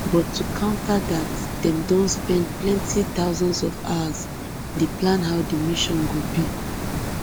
but to counter dat dem don spend plenti thousands of hours dey plan how di mission go be